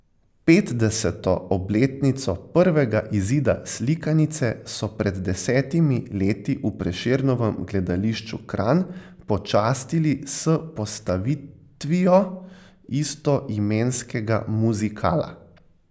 Petdeseto obletnico prvega izida slikanice so pred desetimi leti v Prešernovem gledališču Kranj počastili s postavitvijo istoimenskega muzikala.